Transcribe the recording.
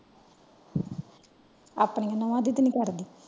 ਆਪਣੀ ਨੂਹਾਂ ਦੀ ਤੇ ਨਹੀਂ ਕਰਦੀ।